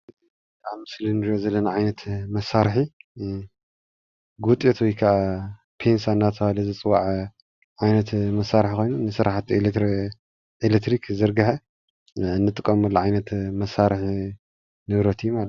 እዚ ኣብ ምስሊ እንሪኦ ዘለና ዓይነት መሳርሒ ጉጤት ወይ ከዓ ፒንሳ እናተባሃለ ዝፅዋዕ ዓይነት መሳርሒ ኮይኑ ንስራሕቲ ኤሌትሪክ ዝርግሐ እንጥቀመሉ ዓይነት መሳርሒ ንብረት እዩ፡፡